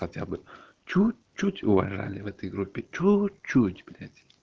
хотя бы чуть-чуть уважали в этой группе чуть-чуть блять